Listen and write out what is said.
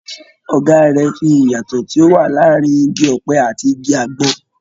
Ọ̀gá rẹ̀ ń fi ìyàtọ̀ tí ó wà láàárín igi ọ̀pẹ ati igi àgbọn.